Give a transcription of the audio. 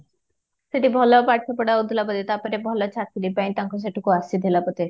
ସେଠି ଭଲ ପାଠପଢା ହଉଥିଲା ବୋଧେ ତାପରେ ତାଙ୍କୁ ଭଲ ଚାକିରି ପାଇଁ ତାଙ୍କୁ ସେଠୁ ଆସିଥିଲା ବୋଧେ